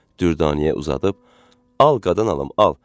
Dürdaniyə uzadıb: "Al qadan alım, al!"